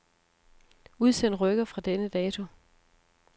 Udsend rykker fra denne dato.